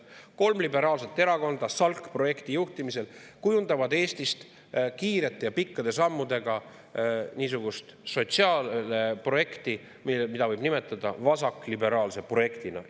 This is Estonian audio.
Kolm liberaalset erakonda SALK-projekti juhtimisel kujundavad Eestist kiirete ja pikkade sammudega niisugust sotsiaalprojekti, mida võib nimetada vasakliberaalseks projektiks.